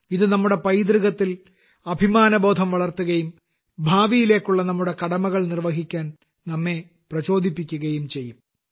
ഇത് നമ്മുടെ പൈതൃകത്തിൽ അഭിമാനബോധം വളർത്തുകയും ഭാവിയിലേക്കുള്ള നമ്മുടെ കടമകൾ നിർവഹിക്കാൻ നമ്മെ പ്രചോദിപ്പിക്കുകയും ചെയ്യും